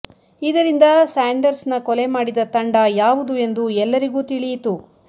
ಇದರಿಂದ ಸಾಂಡರ್ಸ್ನ ಕೊಲೆ ಮಾಡಿದ ತಂಡ ಯಾವುದು ಎಂದು ಎಲ್ಲರಿಗೂ ತಿಳಿಯಿತು